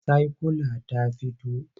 Saikyula ta fito?